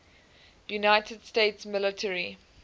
united states military